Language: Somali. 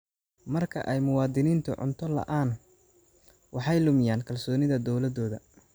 Marka ay muwaadiniintu cunto la'aan, waxay lumiyaan kalsoonida dawladooda.